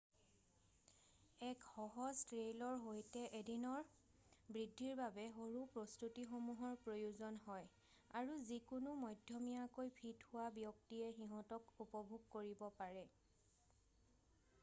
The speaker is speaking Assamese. এক সহজ ট্ৰেইলৰ সৈতে এদিনৰ বৃদ্ধিৰ বাবে সৰু প্ৰস্তুতিসমূহৰ প্ৰয়োজন হয় আৰু যিকোনো মধ্যমীয়াকৈ ফিট হোৱা ব্যক্তিয়ে সিঁহতক উপভোগ কৰিব পাৰে৷